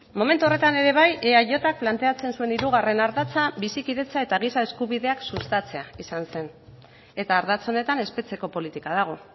momentu horretan ere bai eajk planteatzen zuen hirugarren ardatza bizikidetza eta giza eskubideak sustatzea izan zen eta ardatz honetan espetxeko politika dago